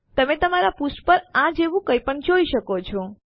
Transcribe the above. તમે તમારા પૃષ્ઠ પર આ જેવું કંઈપણ જોઈ શકો છો